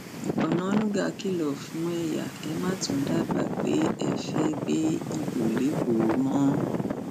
onáńgá kìlọ fún ẹyà ẹ má tún dábàá pé ẹ fẹẹ gbégbá ibo lẹkọọ mọ